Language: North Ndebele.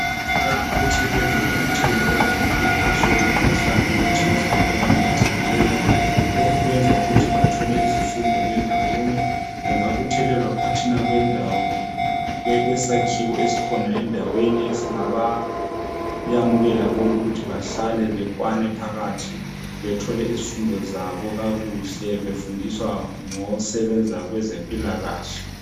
Abantu bayabuthelelwa nxa kuthe kwaba lomkhankaso womkhuhlane othize omemethekileyo. Lokhu kwenza ukuthi bathole izifundo bendawonye. Bangabuthelelwa phakathi kwesakhiwo esikhona endaweni. Esingabamukela bonke, ukuthi behlale bakwane phakathi. Bathole izifundo zabo phakathi kakuhle, Befundiswa ngosebenza kwezempilakahle.